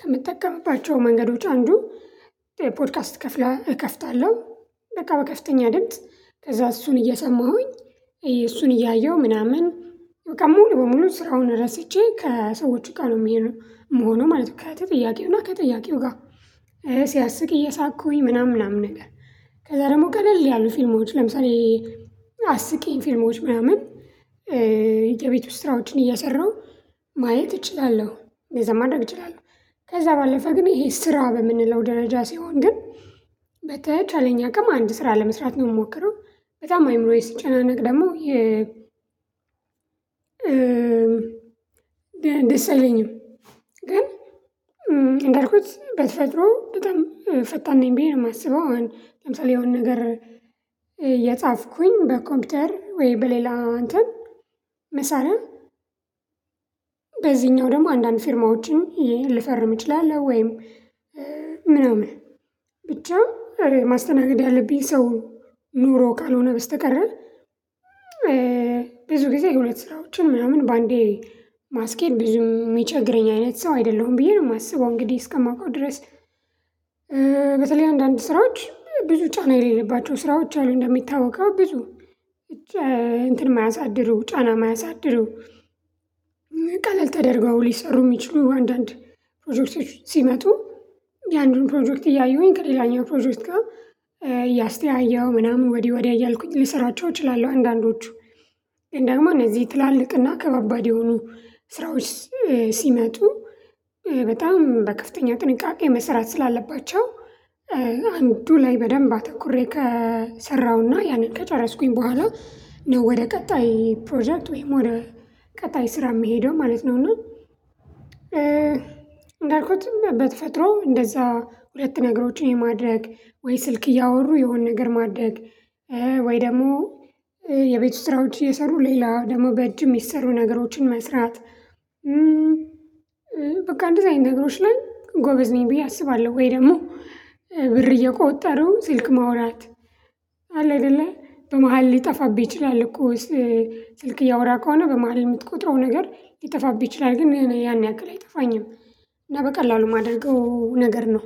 ከምትጠቀምባቸው መንገዶች አንዱ ፖድካስት እከፍታለሁ። በቃ በከፍተኛ ድምጽ ከዛ እሱን እየሰማሁኝ እሱን እያየሁ ምናምን በቃ ሙሉ በሙሉ ስራውን ረስቼ ከሰዎቹጋ ነው ምሆነው ማለት ነው። ከተጠያቂው እና ከተጠያቂውጋ። ሲያስቅ እየሳቅኩኝ ምናምን ምናምን ነገር ከዛ ደግሞ ቀለል ያሉ ፊልማዎች ለምሳሌ አስቂኝ ፊልማዎች ምናምን። የቤት ውስጥ ስራዎችን እየሰራሁ ማየት እችላለሁ እዛ ማድረግ እችላለሁ። ከዛ ባለፈ ግን ይሄ ስራ በምንለው ደረጃ ሲሆን ግን በተቻለኝ አቅም አንድ ስራ ለመስራት ነው የምሞክረው። በጣም አይምሮዬ ሲጨናነቅ ደግሞ የ ደስ የለኝም። ግን እንደርኩት በተፈጥሮ በጣም ፈጣን ነኝ ብዬ ነው የማስበው። ለምሳሌ የሆነ ነገር የጻፍኩኝ በኮምፒውተር ወይ በሌላ አንን መሳሪ በዚህኛው ደግሞ አንዳንድ ፊርማዎችን ይሄን ልፈርም እችላለሁ ወይም ምናምን። ብቻ አረ ማስተናገድ ያለብኝ ሰው ኑሮ ካልሆነ በስተቀረ። ብዙ ጊዜ የሁለት ስራዎችን ምናምን በአንዴ ማስኬድ ብዙ የሚቸግረኝ አይነት ሰው አይደለሁም ብዬ ነው የማስበው። እንግዲህ እስከማውቀው ድረስ። በተለይ አንዳንድ ስራዎች ብዙ ጫና የሌለባቸው ስራዎች አሉ እንደሚታወቀው ብዙ እንትን የማያሳድሩ ጫና የማያሳድሩ ቀለል ተደርገው ሊሰሩ የሚችሉ አንዳንድ ፕሮጀክቶች ሲመጡ ያ አንዱን ፕሮጀክት እያዩኝ ከሌላኛው ፕሮጀክት ጋር እያስተያየሁ ምናምን ወዲያ ወዲያ እያልኩኝ ሊሰራቸው እችላለሁ። አንዳንዶቹ ግን ደግም እነዚህ ትላልቅና ከባባድ የሆኑ ስራዎች ሲመጡ በጣም በከፍተኛው ጥንቃቄ መስራት ስላለባቸው። አንዱ ላይ በደንብ አተኩሬ ከሰራሁና ያንን ከጨረስኩኝ በኋላ ነው ወደ ቀጣይ ፕሮጀክት ወይም ወደ ቀጣይ ስራ የምሄደው ማለት ነው። እና እንዳልኩት በቸፈጥሮ እንደዛ ሁለት ነገሮችን የማድረግ ወይ ስልክ እያወሩ የሆነ ነገር ማድረግ ወይ ደግሞ የቤቱ ስራዎች የሰሩ ሌላው ደግሞ በእጅ ሚሰሩ ነገሮችን መስራት። በቃ እንደዛ አይነት ነገሮች ላይ ጎበዝ ነኝ ብዬ አስባለሁ። ወይ ደግሞ ብር እየቆጠሩ ስልክ ማውራት አለ አይደለ በመሃል ሊጠፋብህ ይችላል እኮ ስልክ እያወራ ከሆነ በመሃል የምትቆጥረው ነገር ይጠፋብኝ ይችላል። ግን ያን ያክል አይጠፋኝም። እና በቀላሉ የማደርገው ነገር ነው።